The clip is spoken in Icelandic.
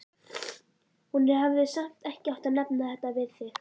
Hún hefði samt ekki átt að nefna þetta við þig.